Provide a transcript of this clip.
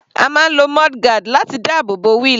A máa ń lo mudguard láti dáàbò bo wheel.